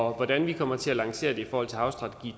hvordan vi kommer til at lancere det i forhold til havstrategi